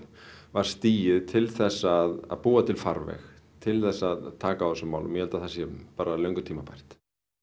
var stigið til þess að búa til farveg til þess að taka á þessum málum ég held að það sé bara löngu tímabært